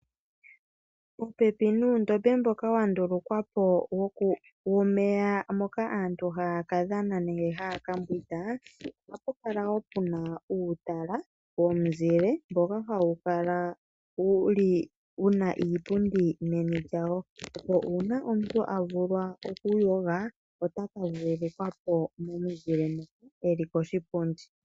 Popepi nuundombe mboka wandulukwa po womeya moka aantu haya kadhana nenge haya kambwinda ohapu kala wo puna uutala womizile mboka hawu kala wuna iipundi meni lyawo opo uuna omuntu avulwa okuyoga ota ka vululukwa po momuzile mo, eli koshipundi.